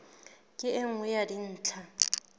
ke e nngwe ya dintlha